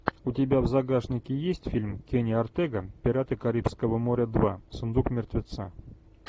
у тебя в загашнике есть фильм кенни ортега пираты карибского моря два сундук мертвеца